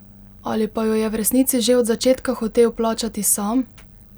Ali pa jo je v resnici že od začetka hotel plačati sam?